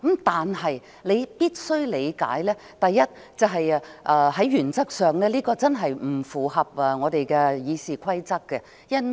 但是，你必須理解，第一，這在原則上真的不符合《議事規則》。